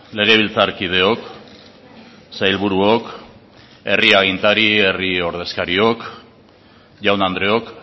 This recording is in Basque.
legebiltzarkideok sailburuok herri agintari herri ordezkariok jaun andreok